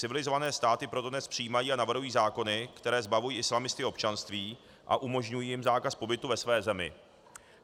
Civilizované státy proto dnes přijímají a navrhují zákony, které zbavují islamisty občanství a umožňují jim zákaz pobytu ve své zemi.